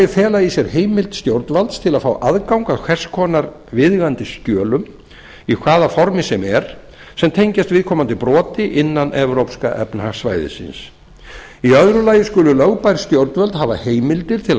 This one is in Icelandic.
fela í sér heimild stjórnvalds til að fá aðgang að hvers konar viðeigandi skjölum í hvaða formi sem er sem tengjast viðkomandi broti innan evrópska efnahagssvæðisins í öðru lagi skulu lögbær stjórnvöld hafa heimildir til að